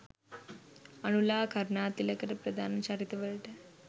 අනුලා කරුනාතිලක ප්‍රධාන චරිත වලට